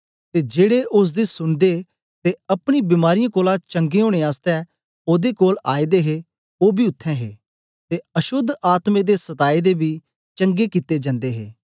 ते जेड़े ओसदी सुनदे ते अपनी बीमारीयें कोलां चंगा ओनें आसतै ओदे कोल आए दे हे ओ बी उत्थें हे ते अशोद्ध आत्में दे सतादे बी चंगे कित्ते जन्दे हे